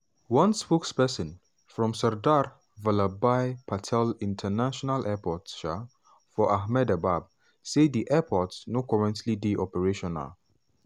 one spokesperson from sardar vallabhbhai patel international airport um for ahmedabad say di airport no currently dey operational.